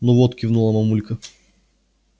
ну вот кивнула мамулька